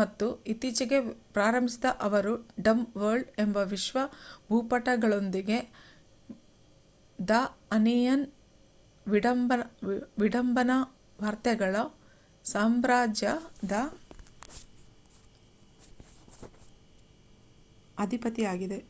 ಮತ್ತು ಇತ್ತೀಚೆಗೆ ಪ್ರಾರಂಭಿಸಿದ ಅವರ್ ಡಂಬ್ ವರ್ಲ್ಡ್ ಎಂಬ ವಿಶ್ವ ಭೂಪಟಗಳೊಂದಿಗೆ ದ ಆನಿಯನ್ ವಿಡಂಬನಾ ವಾರ್ತೆಗಳ ಸಾಮ್ರಾಜ್ಯದ ಅಧಿಪತಿಯಾಗಿದೆ